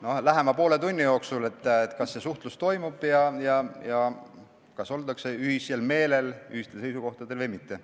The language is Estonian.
No lähema poole tunni jooksul on selge, kas see suhtlus toimub ja kas ollakse ühisel meelel, ühistel seisukohtadel või mitte.